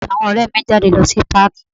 Èmi àti àwọn ọrẹ mi ń jáde lọ sí páàkí.